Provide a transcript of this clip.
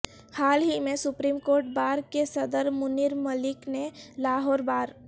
حال ہی میں سپریم کورٹ بار کے صدر منیر ملک نے لاہور بار